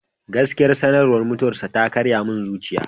Gaskiya, sanarwar mutuwarsa ta karaya min zuciya.